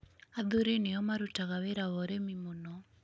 Athuri nĩo marutaga wĩra wa ũrĩmi mũno.